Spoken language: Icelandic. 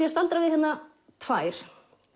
að staldra við hérna tvær